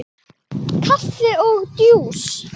Kaffi og djús.